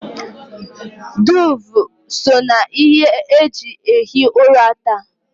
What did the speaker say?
Duuve so na ihe e ji ehi ụra taa